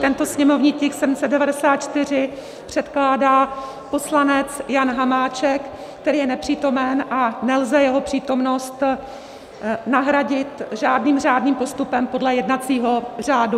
Tento sněmovní tisk 794 předkládá poslanec Jan Hamáček, který je nepřítomen, a nelze jeho přítomnost nahradit žádným řádným postupem podle jednacího řádu.